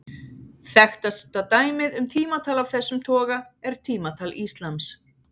Þekktasta dæmið um tímatal af þessum toga er tímatal íslams.